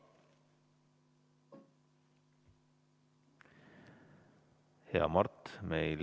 Hea Mart!